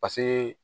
Paseke